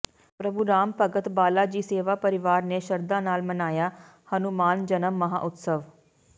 ਪ੍ਰਭੂ ਰਾਮ ਭਗਤ ਬਾਲਾ ਜੀ ਸੇਵਾ ਪਰਿਵਾਰ ਨੇ ਸ਼ਰਧਾ ਨਾਲ ਮਨਾਇਆ ਹਨੂਮਾਨ ਜਨਮ ਮਹਾਂਉਤਸਵ